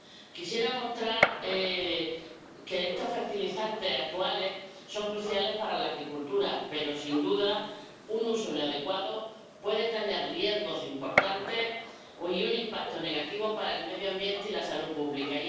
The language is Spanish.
Quisiera mostrar que estos fertilizantes actuales son cruciales para la agricultura, pero sin duda, un uso inadecuado puede tener riesgos importantes y un impacto negativo para el medio ambiente y la salud pública.